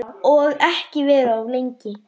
Og ekki vera of lengi.